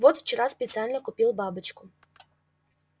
вот вчера специально купил бабочку